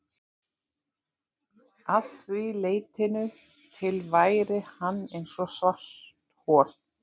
Að því leytinu til væri hann eins og svarthol.